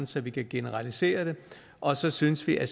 så vi kan generalisere det og så synes vi at